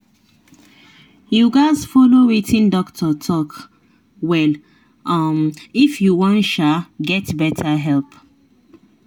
you gatz follow wetin doctor talk well um if you wan um get better help.